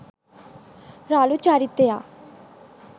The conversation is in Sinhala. රළු චරිතයක්.